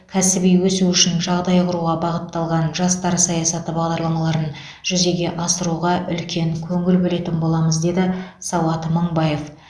кәсіби өсуі үшін жағдай құруға бағытталған жастар саясаты бағдарламаларын жүзеге асыруға үлкен көңіл бөлетін боламыз деді сауат мыңбаев